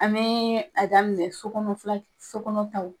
An bɛ a daminɛ so kɔnɔ so kɔnɔ taw